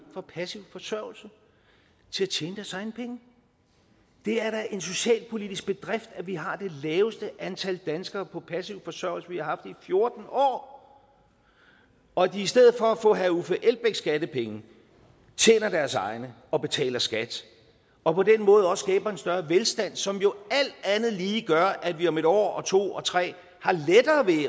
fra passiv forsørgelse til at tjene deres egne penge det er da en socialpolitisk bedrift at vi har det laveste antal danskere på passiv forsørgelse vi har i fjorten år og at de i stedet for at få herre uffe elbæks skattepenge tjener deres egne og betaler skat og på den måde også skaber en større velstand som jo alt andet lige gør at vi om en år og to og tre